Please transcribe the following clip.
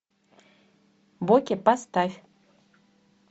боке поставь